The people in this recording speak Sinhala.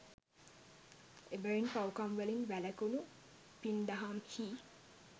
එබැවින් පව්කම්වලින් වැළැකුණු, පින් දහම් හි